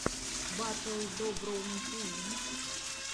батл доброум тиви